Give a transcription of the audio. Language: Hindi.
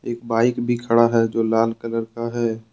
बाइक भी खड़ा है जो लाल कलर का है।